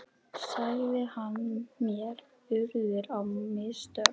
sagði hann, mér urðu á mistök.